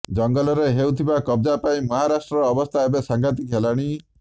ଜଙ୍ଗଲରେ ହେଉଥିବା କବଜା ପାଇଁ ମହାରାଷ୍ଟ୍ରର ଅବସ୍ଥା ଏବେ ସାଙ୍ଘାତିକ ହେଲାଣି